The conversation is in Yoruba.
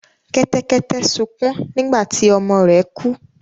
Kẹ́tẹ́kẹ́tẹ́ sukún nígbà tí ọmọ rẹ̀ kú.